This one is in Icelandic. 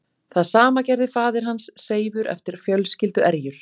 Það sama gerði faðir hans Seifur eftir fjölskylduerjur.